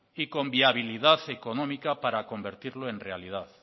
y con viabilidad económica para convertirlo en realidad